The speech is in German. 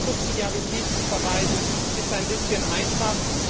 Hier auf Subsidiarität zu verweisen, ist ein bisschen einfach.